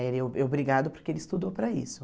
Ele é obrigado porque ele estudou para isso.